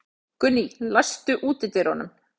Gunný, læstu útidyrunum.